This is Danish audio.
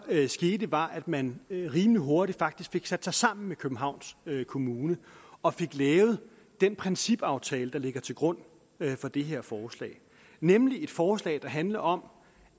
skete var at man rimelig hurtigt faktisk fik sat sig sammen med københavns kommune og fik lavet den principaftale der ligger til grund for det her forslag nemlig et forslag der handler om